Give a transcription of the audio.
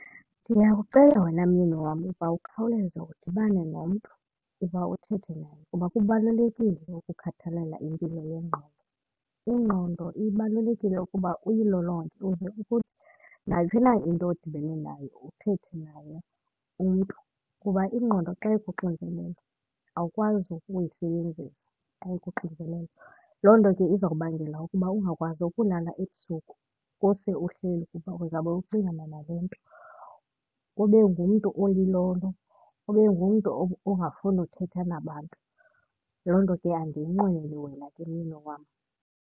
Ndiyakucela wena myeni wam uba ukhawuleza udibane nomntu kuba uthethe naye kuba kubalulekile ukukhathalela impilo yengqondo. Ingqondo ibalulekile ukuba uyilolonge ukuze nayiphi na into odibene nayo uthethe naye umntu. Kuba ingqondo xa ikuxinzelelo awukwazi ukuyisebenzisa xa ikuxinzelelo, loo nto ke izawubangela ukuba ungakwazi ukulala ebusuku kuse uhleli kuba uzawube ucingana nale nto, ube ngumntu olilolo ube ngumntu ongafuni uthetha nabantu. Loo nto ke andiyinqweneli wena ke myeni wam.